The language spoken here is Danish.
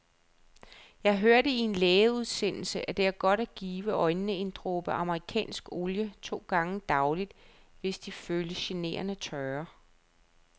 Jeg hørte i en lægeudsendelse, at det er godt at give øjnene en dråbe amerikansk olie to gange daglig, hvis de føles generende tørre.